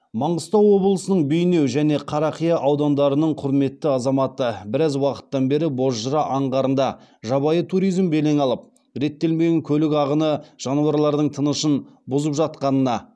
маңғыстау облысының бейнеу және қарақия аудандарының құрметті азаматы біраз уақыттан бері бозжыра аңғарында жабайы туризм белең алып реттелмеген көлік ағыны жануарлардың тынышын бұзып жатқанына